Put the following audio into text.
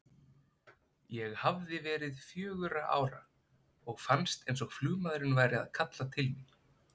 Ég hafði verið fjögurra ára og fannst eins og flugmaðurinn væri að kalla til mín.